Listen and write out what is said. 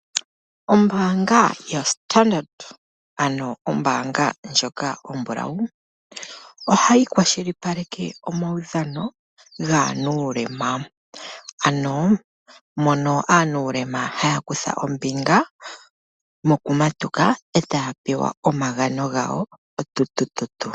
Ombaanga yoStandard ano ombaanga ndjoka ombulawu ohayi kwashilipaleke omaudhano gaanuulema. Ano mono aanuulema haya kutha ombinga mokumatuka etaya pewa omagano gawo otutututu.